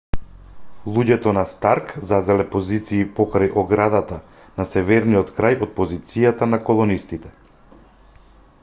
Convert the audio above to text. луѓето на старк зазеле позиции покрај оградата на северниот крај од позицијата на колонистите